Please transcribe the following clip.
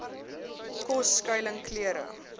kos skuiling klere